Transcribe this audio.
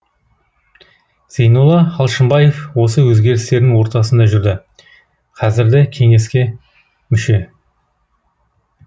зейнолла алшынбаев осы өзгерістердің ортасында жүрді қазірді кеңеске мүше